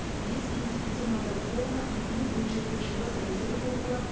бес институционалды реформа екі мың он жетінші жылғы саяси реформалар